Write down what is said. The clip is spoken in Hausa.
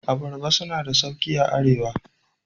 Abaraba suna na da sauƙi a Arewa.